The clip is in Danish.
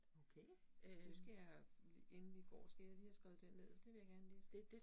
Okay, det skal jeg inden vi går, skal jeg lige have skrevet den ned, det vil jeg gerne læse